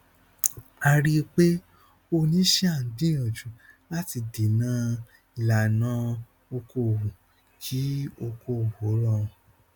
a rí pé oníṣíà ń gbìyànjú láti dènà ìlànà okòòwò kí okòòwò rọrùn